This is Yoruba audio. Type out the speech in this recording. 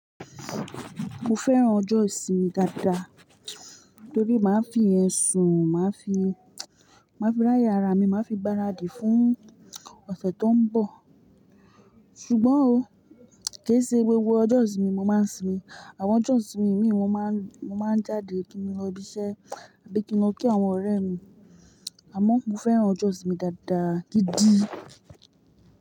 Mo fẹ́ràn ọjọ́ ìsinmi dáadáa torí máa fi yẹ sun, máa fi, máa fi ráyè ara mi, máa fi gbáradì fún ọ̀sẹ̀ tó ń bọ̀. Ṣùgbọ́n ò, kì í ṣe gbogbo ọjọ́ ìsinmi mo máa ń sinmi. Àwọn ọjọ́ ìsinmi míì mo máa ń, mo máa ń jáde kí ni lọ ibi iṣẹ́ àbí kí n lọ kí àwọn ọ̀rẹ́ mi. Àmọ́ mo fẹ́ràn ọjọ́ ìsinmi dáadáa gidi.